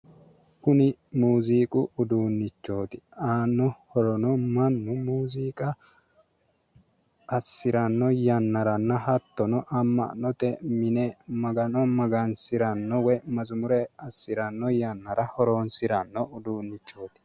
Kun muuziiqu uduunchoot, aano horrono mannu muuziqa asirano yanarana hattono ama'note mine magano magansirano woy mazumure asirano yanara horonsrano uduuneet